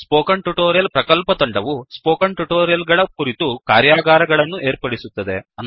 spoken tutorial ಪ್ರಕಲ್ಪತಂಡವು spoken tutorial ಗಳ ಕುರಿತು ಕಾರ್ಯಾಗಾರಗಳನ್ನು ಏರ್ಪಡಿಸುತ್ತದೆ